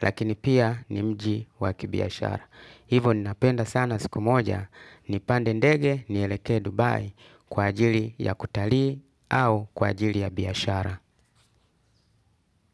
lakini pia ni mji wakibiashara. Hivo ninapenda sana siku moja, nipande ndege ni eleke Dubai kwa ajili ya kutalii au kwa ajili ya biashara.